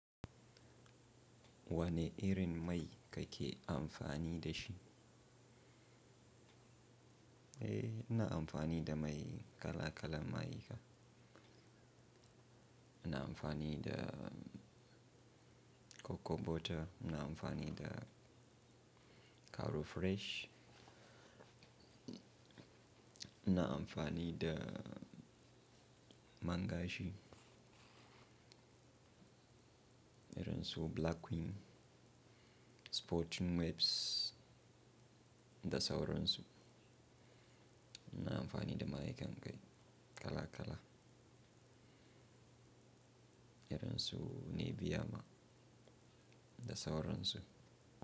Wane irin mai kake amfani da shi? Eh, ina amfani da mai kala-kalan mayika. Ina amfani da cocoa butter, ina amfani da caro fresh, ina amfani da man gashi irin su Black Queen, Sporting Maps da sauran su. Ina amfani da mayikan kai kala-kala irin su Nibiya ma da sauran su.